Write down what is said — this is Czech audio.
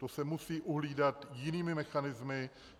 To se musí uhlídat jinými mechanismy.